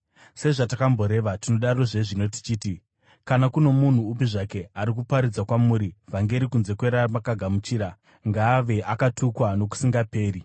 Sezvatakamboreva, tinodarozve zvino tichiti: Kana kuno munhu upi zvake ari kuparidza kwamuri vhangeri kunze kweramakagamuchira, ngaave akatukwa nokusingaperi!